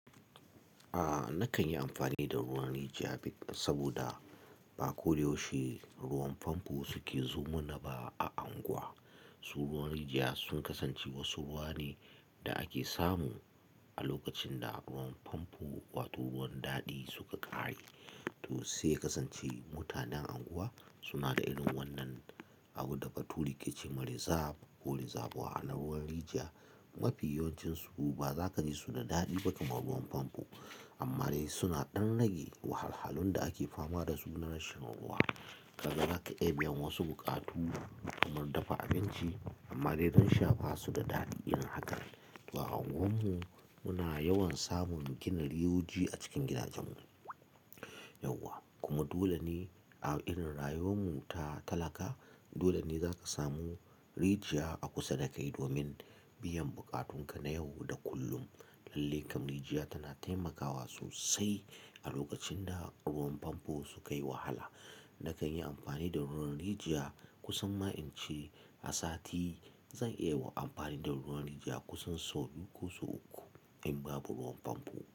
A nakan yi amfani da ruwan rijiya, bik, saboda ba koda yaushe ruwan famfo suke zo ma na ba a anguwa. So ruwan rijiya sun kasance wasu ruwa ne da ake samu a lokacin da ruwan famfo, wato ruwan daɗi suka ƙare. To sai ya kasance, mutanen anguwa suna da irin wannan abunda Bature ke ce ma "rezab" ko "rezabwa". A na ruwan, rijiya mafi yawancinsu ba za ka ji su da daɗi ba kamar ruwan famfo. Amma dai suna ɗan rage wahalhalun da ake fama dasu na rashin ruwa. Kaga zaka iya biyan wasu buƙatu, kamar dafa abinci, amma dai dan sha ba su da daɗi irin haka. To a anguwarmu, muna yawan samun gina riyoji a cikin gidajenmu, yauwa. Kuma dole ne a irin rayuwar mu ta talaka, dole ne za ka samu rijiya a kusa dakai, domin biyan buƙatun ka na yau da kullum. Lallai kam rijiya tana taimakawa sosai a lokacin da ruwan famfo su kai wahala. Nakan yi amfani da ruwan rijiya, kusan ma'ince a sati, zan iya wa amfani da ruwan rijiya kusan sau biyu ko sau uku in babu ruwan famfo.